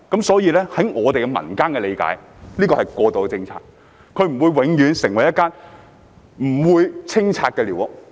所以，據民間理解，這是過渡政策，不會有永不清拆的寮屋。